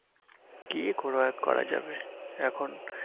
কি করা করা যাবে এখন